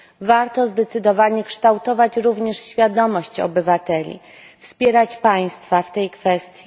Warto zdecydowanie kształtować również świadomość obywateli, wspierać państwa w tej kwestii.